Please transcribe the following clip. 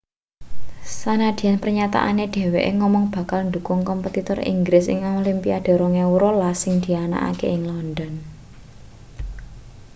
sanadyan pernyataane dheweke ngomong bakal ndukung kompetitor inggris ing olimpiade 2012 sing dianakake ing london